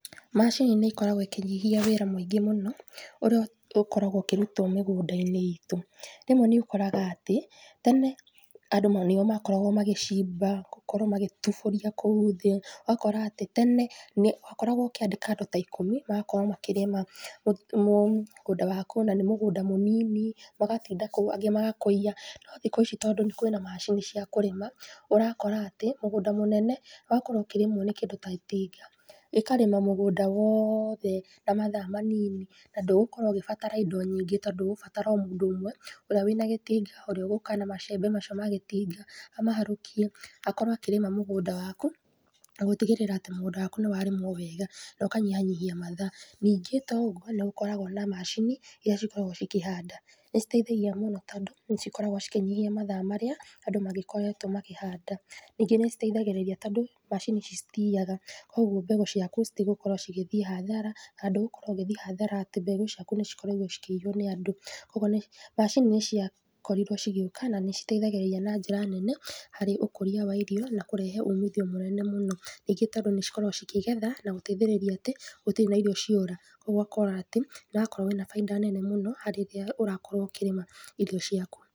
Macini nĩ ikoragwo ikĩnyihia wĩra mũingĩ mũno, ũrĩa ũkoragwo ũkĩrutwo mĩgũnda-inĩ itũ. Rĩmwe nĩ ũkoraga atĩ, tene nĩo makoragwo magĩcimba na gũkorwo magĩtubũria kũu thĩ, ũgakora atĩ, tene wakoragwo ũkĩandĩka andũ ta ikũmi, magakorwo makĩrĩma mũgũnda wakũ na nĩ mũgũnda mũnini, magatinda kũu angĩ magakũia. No thikũ ici kwĩna macini cia kũrĩma, ũrakora atĩ, mũgũnda mũnene ũgakorwo ũkĩrĩmwo nĩ kĩndũ ta itinga. Rĩkarĩma mũgũnda wothe na mathaa manini, na ndũgũkorwo ũgĩbatara indo nyingĩ, tondũ ũgũbatara o mũndũ ũmwe ũrĩa wĩna gĩtinga, ũrĩa ũgũka na macembe macio ma gĩtinga, amaharũkie, akorwo akĩrĩma mũgũnda waku na gũtigĩrĩra atĩ mũgũnda wakũ nĩ warĩmwo wega, na ũkanyihanyihia mathaa. Nĩngĩ to ũguo, nĩ gũkoragwo na macini, iria cikoragwo cikĩhanda. Nĩ citeithagia mũno tondũ, nĩ cikoragwo cikĩnyihia mathaa marĩa andũ magĩkoretwo makĩhanda. Ningĩ nĩ citeithagĩrĩria tondũ macini ici citiyaga koguo mbegũ ciaku citigũkorwo cigĩthiĩ hathara, ndũgũkorwo ũgĩthiĩ hathara atĩ mbegũ ciaku nĩ ikorirwo cikĩiywo nĩ andũ. Koguo macini nĩ ciakorirwo cigĩũka na nĩ citeithagĩrĩria andũ, na nĩ citeithagĩrĩria na njĩra nene harĩ ũkũria wa irio na kũrehe umithio mũnene mũnene mũno. Ningĩ tondũ nĩ ikoragwo ikĩgetha na gũtĩgĩrĩra atĩ, gũtirĩ na irio ciora. Koguo ũgakora atĩ, nĩ ũrakorwo na bainda nene mũno harĩ rĩrĩa ũrakorwo ũkĩrĩma irio ciaku.